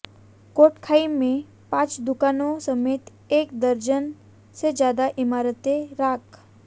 कोटखाई में पांच दुकानों समेत एक दर्जन से ज्यादा इमारतें राख